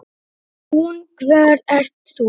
Hún: Hver ert þú?